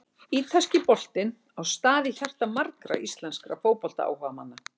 Ítalski boltinn á stað í hjarta margra íslenskra fótboltaáhugamanna.